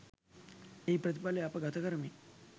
එහි ප්‍රතිඵලය අප ගතකරමින්